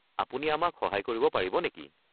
আপুনি আমাক সহায় কৰিব পাৰিব নেকি?